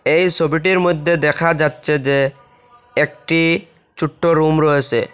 এই ছবিটির মধ্যে দেখা যাচ্ছে যে একটি ছোট্ট রুম রয়েছে।